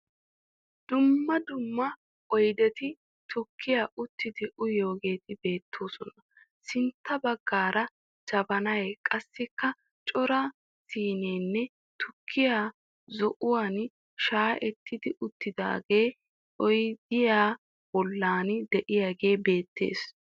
Dumma dumma oyideti tukkiya uttidi uyiyogeeti beettoosona. Sintta baggaara jabanay qassikka cora siinenne tukkee zo'uwan shaayetti uttiidaagee oyidiya bollan diyagee beettes.